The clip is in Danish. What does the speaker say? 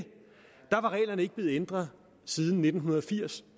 reglerne ikke var blevet ændret siden nitten firs